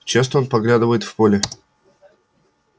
часто он поглядывает в поле